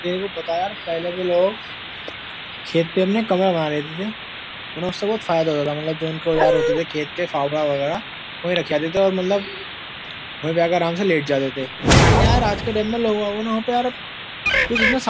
तेरे को पता है यार पहले के लोग खेत पे अपने कमरा बना लेते थे। उन्हें उनसे बहुत फायदा हो जाता था मतलब जो उनके औज़ार होते थे खेत के फावड़ा वगेरा वहीँ रख आते थे। मतलब वहीँ आकर आराम से लेट जाया करते थे। लेकिन यार आज के टाइम में यार लोग वोगन को कुछ यार --